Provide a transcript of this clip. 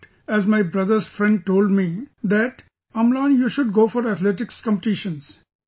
But as my brother's friend told me that Amlan you should go for athletics competitions